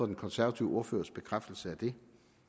den konservative ordførers bekræftelse af det